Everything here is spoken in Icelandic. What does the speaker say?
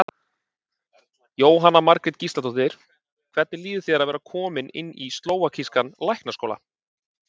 Jóhanna Margrét Gísladóttir: Hvernig líður þér að vera kominn inn í slóvakískan læknaskóla?